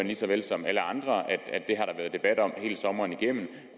lige så vel som alle andre at det har der været debat om hele sommeren igennem